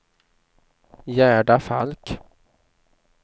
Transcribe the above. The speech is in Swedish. Gerda Falk